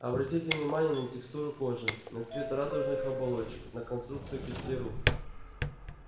обратите внимание на текстуру кожи на цвет радужных оболочек на конструкцию кистей рук